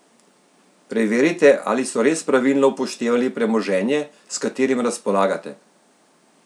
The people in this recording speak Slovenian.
Preverite, ali so res pravilno upoštevali premoženje, s katerim razpolagate!